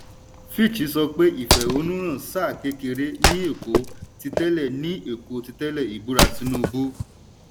fitch sọ pé ìfẹ̀hónúhàn sáà kékeré ní èkó titẹle ní èkó titẹle ìbúra tinubu.